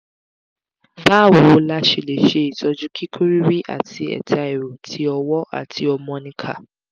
báwo la ṣe lè ṣe itoju kiku riri ati eta ero tí ọwọ́ àti omonika